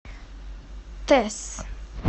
тесс